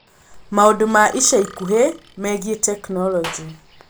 Maũndũ ma ica ikuhĩ megiĩ tekinolonjĩ